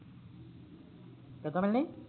ਕਿਥੋਂ ਮਿਲਣੀ